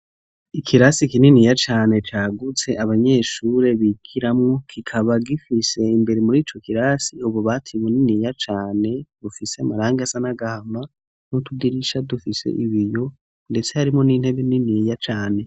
Ikirasi kininiya cane cagutse abanyeshure bikiramo kikaba gifise imbere muri ico kirasi ububati buniniya cane bufise amaranga sanagahanwa no tudirisha dufise ibiyo ndetse harimo n'intebe niniya cane.